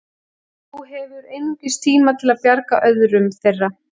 Þú hefur einungis tíma til að bjarga öðrum þeirra.